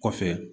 Kɔfɛ